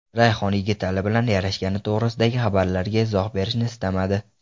Rayhon Yigitali bilan yarashgani to‘g‘risidagi xabarlarga izoh berishni istamadi.